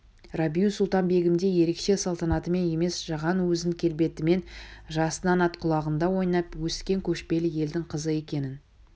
рабиу-сұлтан-бегімдей ерекше салтанатымен емес жаған өз келбетімен жасынан ат құлағында ойнап өскен көшпелі елдің қызы екенін